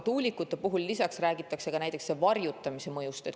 Tuulikute puhul räägitakse ka varjutamise mõjust.